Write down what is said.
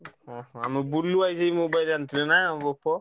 ହଁ ହଁ ଆମ ବୁଲୁ ଭାଇ ଯେମିତି mobile ଆଣିଥିଲେ ନା Oppo ?